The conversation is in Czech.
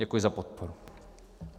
Děkuji za podporu.